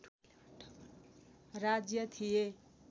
राज्य थिए